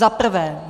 Za prvé.